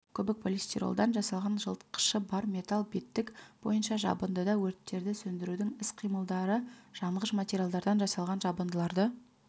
көбікполистиролдан жасалған жылытқышы бар металл беттік бойынша жабындыда өрттерді сөндірудің іс-қимылдары жанғыш материалдардан жасалған жабындыларды